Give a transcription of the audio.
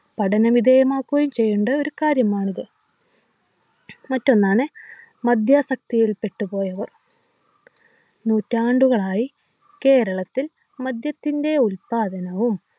പഠനവിധേയമാക്കുകയും ചെയ്യേണ്ട ഒരു കാര്യമാണിത് മറ്റൊന്നാണ് മദ്യാസക്തിയിൽ പെട്ട് പോയവർ നൂറ്റാണ്ടുകളായി കേരളത്തിൽ മദ്യത്തിൻ്റെ ഉല്പാദനവും